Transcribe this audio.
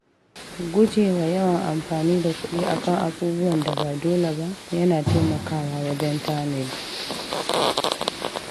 Guje wa yawan amfani da kuɗi a kan abubuwan da ba dole ba yana taimakawa wajen tanadi.